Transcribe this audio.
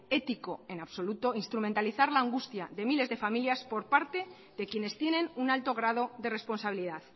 ético en absoluto instrumentalizar la angustia de miles de familias por parte de quienes tienen un alto grado de responsabilidad